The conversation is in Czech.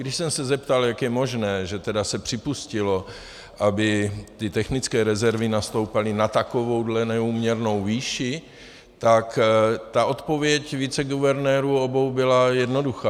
Když jsem se zeptal, jak je možné, že tedy se připustilo, aby ty technické rezervy nastoupaly na takovouhle neúměrnou výši, tak ta odpověď viceguvernérů, obou, byla jednoduchá.